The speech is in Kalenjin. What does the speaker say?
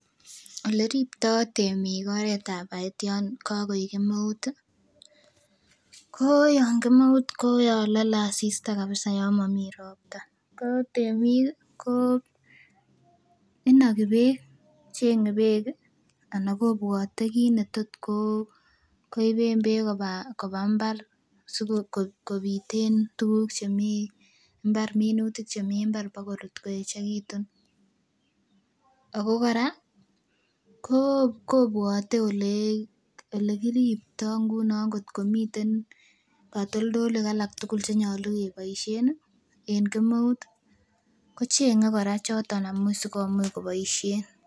Oleriptoo temiik oret ab baet yan kakoik kemeut ih ko yan kemeut ko yan lole asista kabisa yon momii ropta ko temiik ko inogi beek cheng'e beek ih ana kobwote kit netot koiben beek koba mbar sikobit en tuguk chemii mbar minutik chemii mbar bakorut koeechekitun ako kora kobwote elekiriptoo ngunon ngotkomiten katoltolik alak tugul chenyolu keboisien en kemeut ko cheng'e kora choton asikomuch koboisien